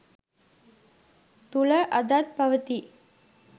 තුළ අදත් පවති යි.